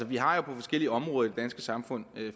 vi har jo på forskellige områder i danske samfund